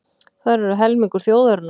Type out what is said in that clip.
Þær eru helmingur þjóðarinnar.